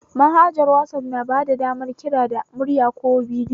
Manhajar wazaf na bada damar kira da murya ko da bidiyo